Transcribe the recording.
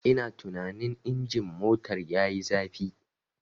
Ina tunanin injin motar yayi zafi.